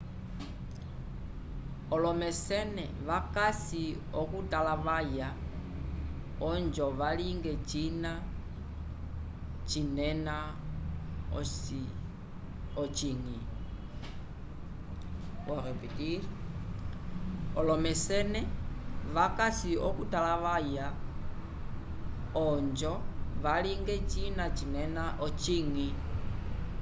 olomecene vacasi okutalavaya ojo valinge cina cinena ocinyi